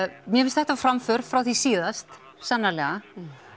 mér finnst þetta framför frá því síðast sannarlega